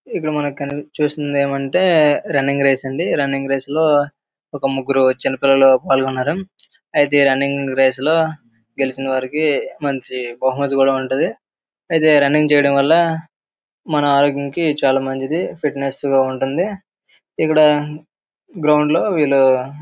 ఇక్కడ మనకు కనిపిస్తుంది ఏంటంటే రన్నింగ్ రేస్ అండి. దీంట్లో ఒక చిన్న ముగ్గురు పాల్గొన్నారు. ఈ రన్నింగ్ రేస్ లోకి గెలిచినా వాళ్లకి మంచి బహుమతి కూడా ఉంటుంది. అయితే రన్నింగ్ రేసు లో మన ఆరోగ్యానికి చాలా మంచిది. ఫిట్నెస్ గా ఉంటుంది. వీళ్ళు --